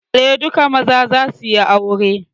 Eh, duka maza za suyi aure